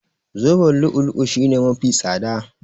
Zoben lu'u-lu'u shine mafi tsada.